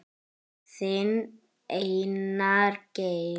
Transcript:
Þinn, Einar Geir.